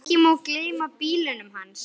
Ekki má gleyma bílunum hans.